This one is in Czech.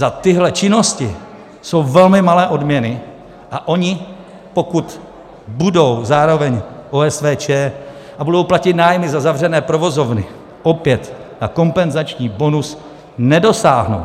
Za tyhle činnosti jsou velmi malé odměny a oni, pokud budou zároveň OSVČ a budou platit nájmy za zavřené provozovny, opět na kompenzační bonus nedosáhnou.